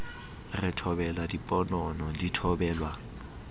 re thobela diponono di thobelwa